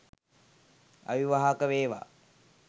අවිවාහක වේවා